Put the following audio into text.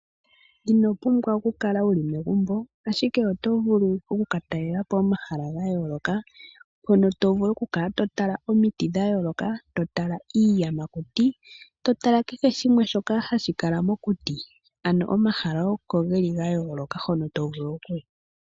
Inopumbwa okukala wuli megumbo ashike otovulu okukatalela po omahala gayooloka hono tovulu okukala totala omiti dhayooloka, totala iiyamakuti totala kehe shimwe hashi kala mokuti. Ano omahala oko geli gayooloka hono tovulu okuya.